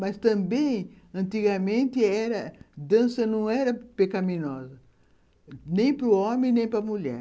Mas também, antigamente era, dança não era pecaminosa, nem para o homem, nem para a mulher.